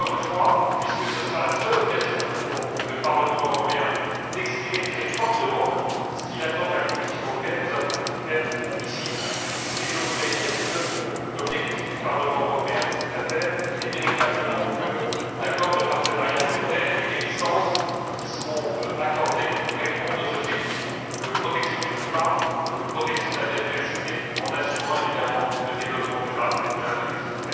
Mais, encore une fois, puisque cela sera la seule occasion pour le Parlement européen d'exprimer très fortement ce qu'il attend de la Commission européenne, nous avons voulu le faire ici, et je voudrais dire que l'objectif du Parlement européen dans cette affaire est véritablement d'obtenir que l'accord de partenariat volontaire et les licences qui seront accordées répondent aux objectifs de protection du climat et de protection de la biodiversité, en assurant, évidemment, le développement durable de l'Indonésie.